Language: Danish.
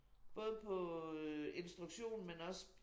Både på øh instruktion men også